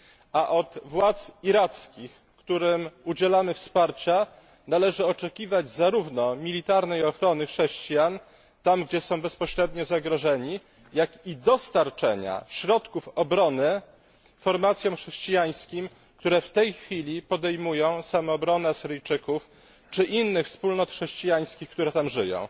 A od władz irackich, którym udzielamy wsparcia, należy oczekiwać zarówno militarnej ochrony chrześcijan tam, gdzie są bezpośrednio zagrożeni, jak i dostarczenia środków obrony formacjom chrześcijańskim, które w tej chwili podejmują samoobronę Syryjczyków czy innych wspólnot chrześcijańskich, które tam żyją.